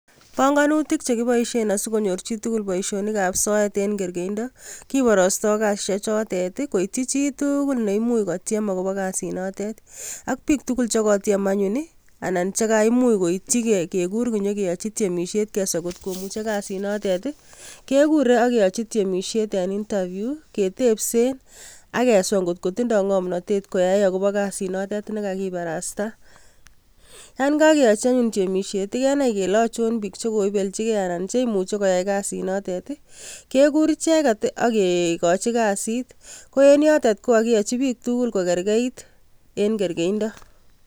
Bongonutik che kiboisien asigonyor chitugul boisionikab soet eng kergeinda, kibarasto kasisiek chotet ii koityi chi tuugul neimuch kotiem agobo kasunotet. Ak biik tugul che kotiem anyun anan che kaimuch koityi kegur konyo kigochi tiemisiet keswa ngot komuchi kasit notet ii, kegure ak keyochi tiemisiet en interview ketebsen ak keswa ngotindo ngomnatet koyai agobo kasit notet negagibarasta. Yon kageyochi anyun tiemisiet, kenai kele achon biik che koibelchigei anan che imuchi koyai kasit notet ii, kegur icheget ak kegochi kasit. Ko en yotet ko kagiyochi biik tugul ko kergeit eng kergeindo.